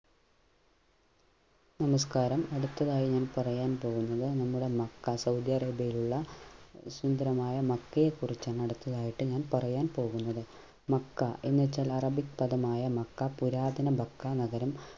നമസ്കാരം അടുത്തതായി ഞാൻ പറയാൻ പോകുന്നത് നമ്മുടെ മക്ക സൗദിയ ആറേബിയയിലുള്ള സുന്ദരമായ മക്കയെ കുറിച്ചാണ് അടുത്തതായട്ട് ഞാൻ പറയാൻ പോകുന്നത് മക്ക എന്ന ചല അറബിക് പദമായ മക്ക പുരാതന മക്ക നഗരം